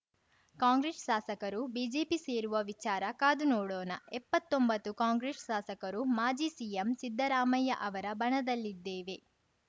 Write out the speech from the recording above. ಕಾಂಗ್ರೆಸ್‌ ಶಾಸಕರು ಬಿಜೆಪಿ ಸೇರುವ ವಿಚಾರ ಕಾದು ನೋಡೋಣ ಎಪ್ಪತ್ತೊಂಬತ್ತು ಕಾಂಗ್ರೆಸ್‌ ಶಾಸಕರು ಮಾಜಿ ಸಿಎಂ ಸಿದ್ದರಾಮಯ್ಯ ಅವರ ಬಣದಲ್ಲಿದ್ದೇವೆ